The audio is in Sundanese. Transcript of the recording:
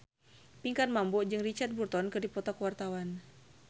Pinkan Mambo jeung Richard Burton keur dipoto ku wartawan